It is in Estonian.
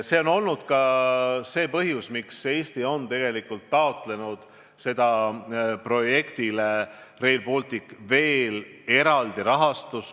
See on olnud ka põhjus, miks tegelikult Eesti on taotlenud Rail Balticu projektile veel eraldi rahastust.